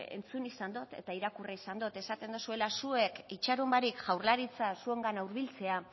entzun izan dot eta irakurri izan dot esaten duzuela zuek itxaron barik jaurlaritzak zuengana hurbiltzea